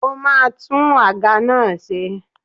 Ó ma tún àga náà ṣe.